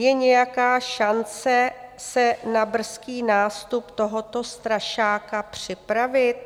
Je nějaká šance se na brzký nástup tohoto strašáka připravit?